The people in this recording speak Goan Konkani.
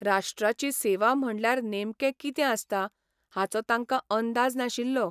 राष्ट्राची सेवा म्हणल्यार नेमकें कितें आसता हाचो तांकां अंदाज नाशिल्लो.